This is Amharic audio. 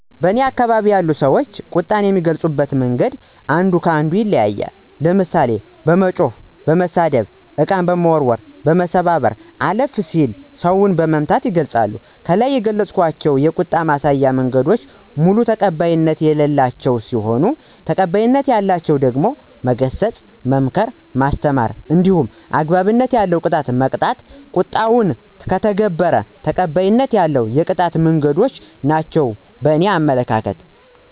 በእኔ አከባቢ ያሉ ሰዎች ቁጣን የሚገልጹበት መንገድ አንዱ ከ አንዱ ይለያያል። ለምሳሌ፦ በመጮህ፣ በመሳደብ፣ እቃ በመወርወር፣ በመሰባበር አለፍ ሲልም ሰውን በመምታት ይገልፃሉ። ከላይ የገለፅኳቸው የቁጣ ማሳያ መንገዶች በሙሉ ተቀባይነት የሌላቸው ሲሆኑ ተቀባይነት ያላቸው ደግሞ መገሰጽ፣ መምከር፣ ማስተማር እንዲሁም አግባብነት ያለው ቅጣት በመቅጣት ቁጣውን ከተገበረ ተቀባይነት ያለው የቁጣ መንገዶች ናቸው በእኔ አመለካከት።